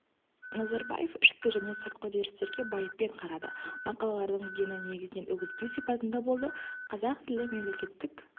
назарбаев ішкі және сыртқы үдерістерге байыппен қарады мақалалардың дені негізінен үгіттеу сипатында болды қазақ тілі мемлекеттік